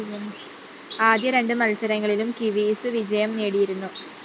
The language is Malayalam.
ആദ്യ രണ്ട് മത്സരങ്ങളിലും കിവീസ് വിജയം നേടിയിരുന്നു